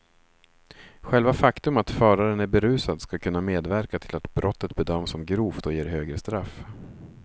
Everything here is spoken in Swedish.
Själva faktum att föraren är berusad ska kunna medverka till att brottet bedöms som grovt och ger högre straff.